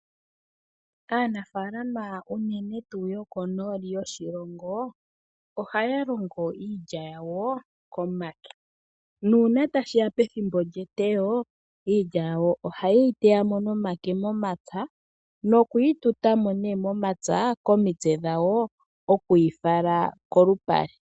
Aanafalama unene tuu yokonooli yoshilongo ohaya longo iilya yawo komake, nuuna tashiya pethimbo lyeteyo, iilya yawo ohaye yi teyamo nomake momapya, noku yi tutamo nee momapya komitse dhawo oku yi fala kolupale.